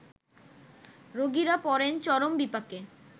রোগীরা পড়েন চরম বিপাকে